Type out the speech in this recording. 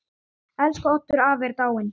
Elsku Oddur afi er dáinn.